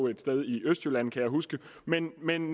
et sted i østjylland kan jeg huske men men